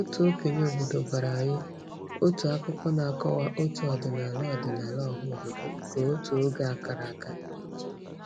Otu okenye obodo gwara anyị otu akụkọ na-akọwa otu ọdịnala ọdịnala ọhaobodo nke otu oge a kara aka.